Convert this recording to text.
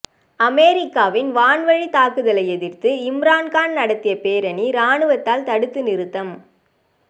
அமெரிக்காவின் வான்வழித் தாக்குதலை எதிர்த்து இம்ரான்கான் நடத்திய பேரணி ராணுவத்தால் தடுத்து நிறுத்தம்